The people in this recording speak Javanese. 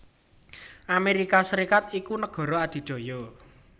Amérika Sarékat iku nagara adidaya